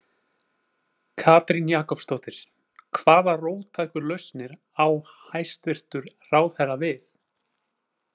Katrín Jakobsdóttir: Hvaða róttæku lausnir á hæstvirtur ráðherra við?